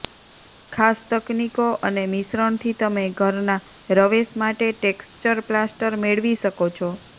ખાસ તકનીકો અને મિશ્રણથી તમે ઘરના રવેશ માટે ટેક્ષ્ચર પ્લાસ્ટર મેળવી શકો છો